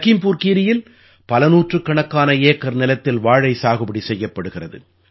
லகீம்புர் கீரீயில் பல நூற்றுக்கணக்கான ஏக்கர் நிலத்தில் வாழை சாகுபடி செய்யப்படுகிறது